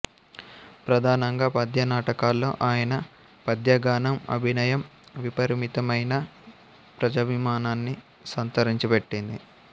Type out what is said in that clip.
ప్రధానంగా పద్యనాటకాల్లో ఆయన పద్యగానం అభినయం విపరీతమైన ప్రజాభిమానాన్ని సంతరించిపెట్టింది